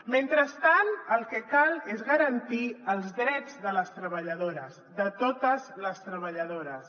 mentrestant el que cal és garantir els drets de les treballadores de totes les treballadores